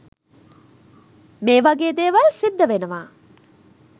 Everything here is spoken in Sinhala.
මේ වගේ දේවල් සිද්ධ වෙනවා.